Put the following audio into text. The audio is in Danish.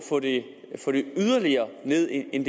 det yderligere ned end